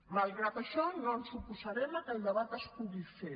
malgrat això no ens oposarem al fet que el debat es pugui fer